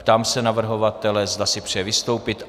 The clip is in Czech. Ptám se navrhovatele, zda si přeje vystoupit.